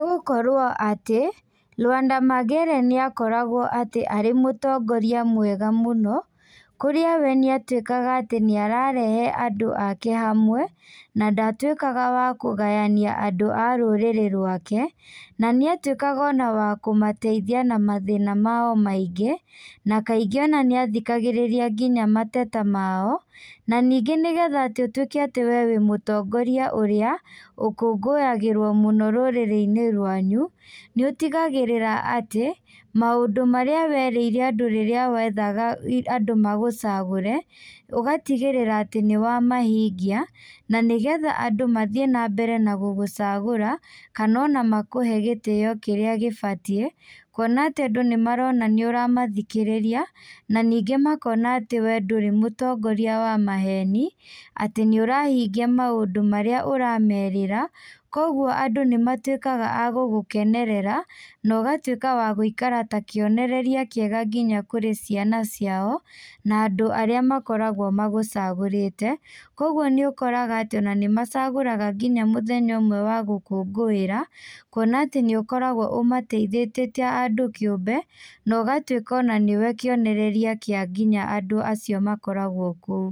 Nĩgũkorwo atĩ, Lwanda Magere nĩakoragwo atĩ arĩ mũtongoria mwega mũno, kũrĩa we nĩatuĩkaga atĩ nĩararehe andũ ake hamwe, na ndatuĩkaga wa kũgayania andũ a rũrĩrĩ rwake, na nĩatuĩkaga ona wa kũmateithia na mathĩna mao maingĩ, na kaingĩ ona nĩ athikagĩrĩria nginya mateta mao, na ningĩ nĩgetha atĩ ũtuĩke atĩ we wĩ mũtongoria ũrĩa ũkũngũyagĩrwo mũno rũrĩrĩ-inĩ rwanyu, nĩũtigagĩrĩra atĩ, maũndũ marĩa werĩire andũ rĩrĩa wethaga andũ magũcagũre, ũgatigĩrĩra atĩ nĩwamahingi, na nĩgetha andũ mathiĩ na mbere na gũgũcagũra, kana ona makũhe gĩtĩo kĩrĩa gĩbatiĩ, kuona atĩ andũ nĩmarona nĩũramathikĩrĩria, na ningĩ makona atĩ we ndũrĩ mũtongoria wa maheni, atĩ nĩũrahingia maũndũ marĩa ũramerĩra, koguo andũ nĩmatuĩkaga agũgũkenerera, na ũgatuĩka wa guikara ta kĩonereria kĩega nginya kũrĩ ciana ciao, na andũ arĩa makoragwo magũcagũrĩte, koguo nĩũkoraga atĩ ona nĩmacagũraga nginya mũthenya ũmwe wa gũkũngũĩra, kuona atĩ nĩũkoragwo ũmateithĩtie ta andũ kĩũmbe, na ũgatuĩka ona nĩwe kĩonereria kĩa nginya andũ acio makoragwo kũu.